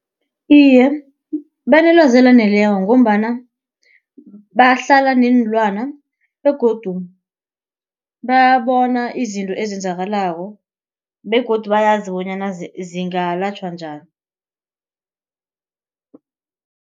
Iye, banelwazi elaneleko ngombana bahlala neenlwana begodu bayabona izinto ezenzakalako begodu bayazi bonyana zingalatjhwa njani.